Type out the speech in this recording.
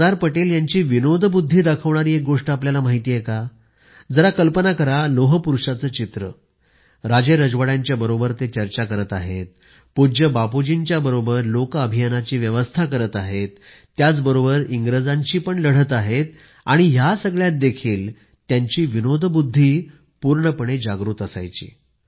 सरदार पटेल यांची विनोदबुद्धी दाखवणारी एक गोष्ट आपल्याला माहिती आहे का जरा कल्पना करा लोह पुरुषाचे चित्र राजेरजवाड्यांच्या बरोबर चर्चा करत आहेत पूज्य बापूजींच्या बरोबर लोक अभियानाची व्यवस्था करत आहेत त्याचबरोबर इंग्रजांशी पण लढत आहेत आणि ह्या सगळ्यात देखील त्यांची विनोदबुद्धी पूर्णपणे जागृत असायची